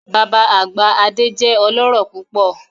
Baba agba Ade jẹ ọlọrọ pupọ